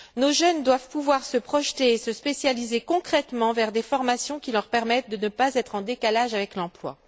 Nos jeunes doivent pouvoir se projeter et se spécialiser concrètement dans des formations qui leur permettent de ne pas être en décalage avec l'emploi.